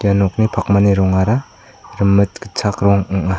ia nokni pakmani rongara rimit gitchak rong ong·a.